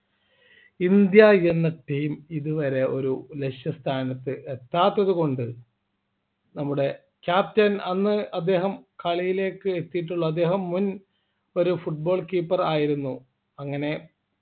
India എന്ന team ഇതുവരെ ഒരു ലക്ഷ്യസ്ഥാനത്ത് എത്താത്തതുകൊണ്ട് നമ്മുടെ Captain അന്ന് അദ്ദേഹം കളിയിലേക്ക് എത്തിയിട്ടുള്ള അദ്ദേഹം മുൻ ഒരു Football keeper ആയിരുന്നു അങ്ങനെ